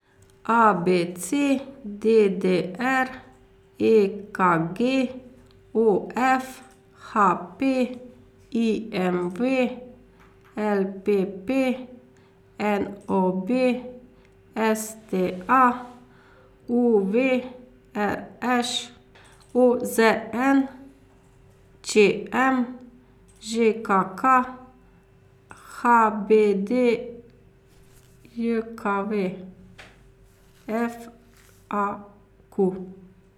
A B C; D D R; E K G; O F; H P; I M V; L P P; N O B; S T A; U V; R Š; O Z N; Č M; Ž K K; H B D J K V; F A Q.